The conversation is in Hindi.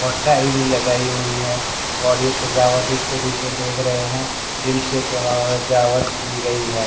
और टाई भी लगाई हुई है और ये सजावट इसके पीछे देख रहे हैं दिल से सवा सजावट की गई है।